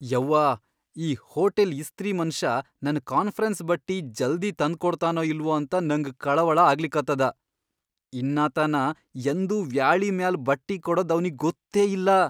ಯವ್ವಾ ಈ ಹೋಟೆಲ್ ಇಸ್ತ್ರಿ ಮನಷಾ ನನ್ ಕಾನ್ಫರೆನ್ಸ್ ಬಟ್ಟಿ ಜಲ್ದಿ ತಂದ್ಕೊಡ್ತಾನೋ ಇಲ್ವೋ ಅಂತ ನಂಗ ಕಳವಳ ಆಗ್ಲಿಕತ್ತದ. ಇನ್ನಾತನಾ ಯಂದೂ ವ್ಯಾಳಿ ಮ್ಯಾಲ್ ಬಟ್ಟಿಕೊಡದ್ ಅವ್ನಿಗಿ ಗೊತ್ತೇ ಇಲ್ಲ .